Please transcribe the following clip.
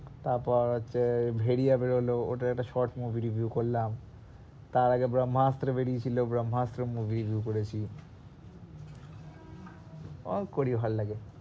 তারপর হচ্ছে ভেরিয়া বেরোলো ওটার একটা short movie review করলাম তারআগে বহ্মাস্ত্র বেরিয়ে ছিল বহ্মাস্ত্র movie ও করেছি ও করি ভালোলাগে,